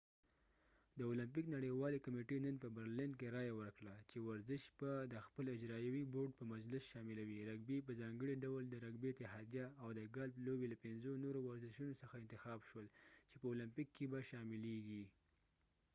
د اولمپیک نړیوالې کمیټې نن په برلین کې رایه ورکړه چې ورزش به د خپل اجراییوي بورډ په مجلس شاملوي رګبي په ځانګړي ډول د رګبي اتحادیه او د ګالف لوبې له پنځو نورو ورشونو څخه انتخاب شول چې په اولمپیک کې به یې شاملېږي